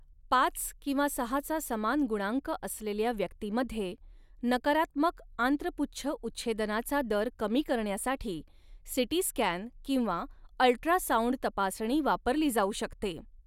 पाच किंवा सहाचा समान गुणांक असलेल्या व्यक्तीमध्ये, नकारात्मक आंत्रपुच्छ उच्छेदनाचा दर कमी करण्यासाठी सीटी स्कॅन किंवा अल्ट्रासाऊंड तपासणी वापरली जाऊ शकते.